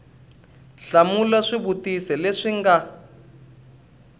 hlamula swivutiso leswi swi nga